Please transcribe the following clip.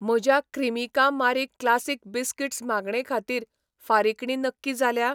म्हज्या Cremica Marie classic biscuits मागणे खातीर फारिकणी नक्की जाल्या?